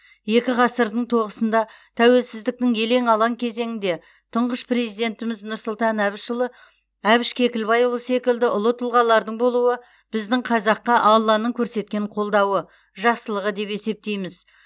екі ғасырдың тоғысында тәуелсіздіктің елең алаң кезеңінде тұңғыш президентіміз нұрсұлтан әбішұлы әбіш кекілбайұлы секілді ұлы тұлғалардың болуы біздің қазаққа алланың көрсеткен қолдауы жақсылығы деп есептейміз